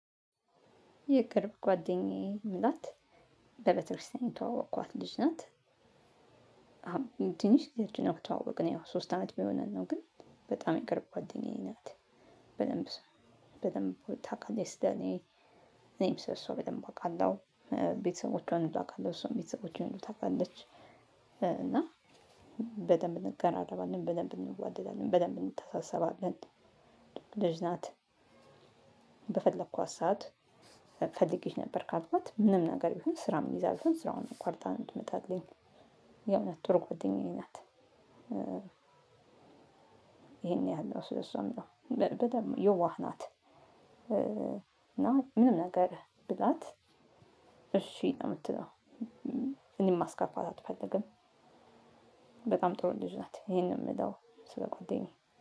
የቅርብ ጓደኛዬም ናት በቤተክርስቲያን ተዋወቅኳት ልጅ ናት። አሁን ትንሽ ግዜአችን ነው ተዋወቅን ያው ሶስት አመት ቢሆን ነው ግን በጣም የቅርብ ጓደኛዬ ናት ነው። በደንብ በደንብ ታውቃለች ስለ እኔ። እኔም ሰለ እሷ በደንብ አውቃለሁ ቤተሰቦቿን አውቃለሁ እሷም ቤተሰቦቼንም ታውቃለች። እና በደንብ እንቀራረባለን በደንብ እንዋደዳለን በደንብ እንተሳስባለን። ልጅ ናት። በፈለኳት ሰዓት ፈልጌሽ ነበር ካልኳት ምንም ነገር ቢሆን ስራም ይዛ ብሆን ስራውን አቋርጣ ትመጣለች። የእውነት ጥሩ ጓደኛዬ ናት። ይሄን ያህል ሶ እሷም ነው። በደንብ የዋህ ናት። እና ምንም ነገር ብላት እሺ ነው የምትለው። እኔም ማስከፋት አትፈልግም። በጣም ጥሩ ልጅ ናት ይሄንን የምለው ስለ ጓደኛዬ